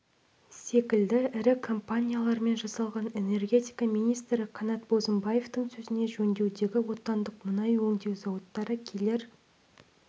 секілді ірі компаниялармен жасалған энергетика министрі қанат бозымбаевтың сөзінше жөндеудегі отандық мұнай өңдеу зауыттары келер